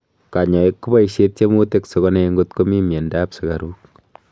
kanyoiik kopaishe tiemutik sigonai ngot komii mianda ap sugaru